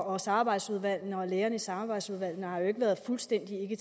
og samarbejdsudvalgene og lægerne i samarbejdsudvalgene har jo ikke været fuldstændig